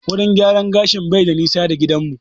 Wurin gyaran gashin bai da nisa da gidan mu